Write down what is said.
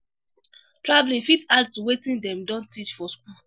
Travelling fit add to wetin dem don teach for school